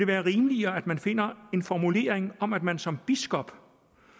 være rimeligere at man finder en formulering om at man som biskop